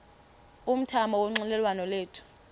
umthamo wonxielelwano lwethu